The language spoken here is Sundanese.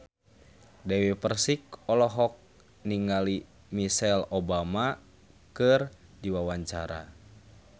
Dewi Persik olohok ningali Michelle Obama keur diwawancara